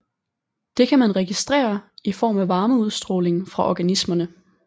Det kan man registrere i form af varmeudstråling fra organismerne